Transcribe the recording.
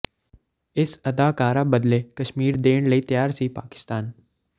ਇਸ ਅਦਾਕਾਰਾ ਬਦਲੇ ਕਸ਼ਮੀਰ ਦੇਣ ਲਈ ਤਿਆਰ ਸੀ ਪਾਕਿਸਤਾਨ